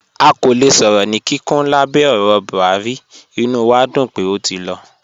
À kò lẹ̀ sọ̀rọ̀ ní kíkún lábẹ̀ ọ̀rọ̀ Buhari, ìnú wà dún pé ó ti lọ.